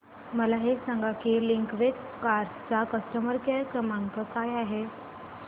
मला हे सांग की लिंकवे कार्स चा कस्टमर केअर क्रमांक काय आहे